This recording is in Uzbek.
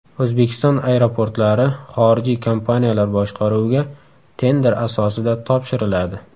O‘zbekiston aeroportlari xorijiy kompaniyalar boshqaruviga tender asosida topshiriladi.